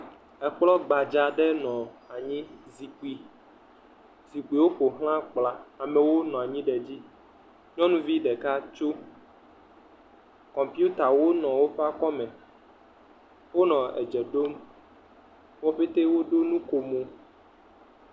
Ekplɔ gbda aɖe nɔ anyi zikpui, zikpuiwo ƒoxla kplɔa amewo nɔ anyi ɖe edzi. Nyɔnuvi ɖeka tsome kɔmpitawo kura nɔ woƒe aƒeme. Wo pɛte woɖo nukomo.